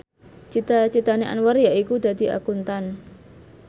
cita citane Anwar yaiku dadi Akuntan